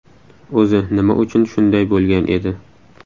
O‘zi nima uchun shunday bo‘lgan edi?